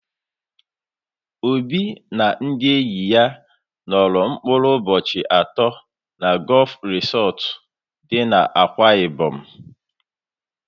Obi na ndị enyi ya nọrọ mkpụrụ ụbọchị atọ na Gọọf Risọtụ dị n'Akwa Ịbọm.